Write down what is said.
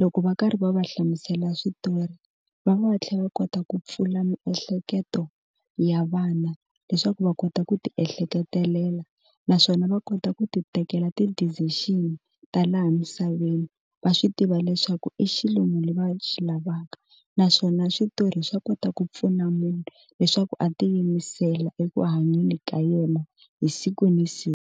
loko va karhi va va hlamusela switori va va va tlhela va kota ku pfula miehleketo ya vana leswaku va kota ku ti ehleketelela naswona va kota ku ti tekela ti decision ta laha misaveni va swi tiva leswaku i xilungu leswi va swi lavaka naswona switori swa kota ku pfuna munhu leswaku a tiyimisela eku hanyeni ka yena hi siku na siku.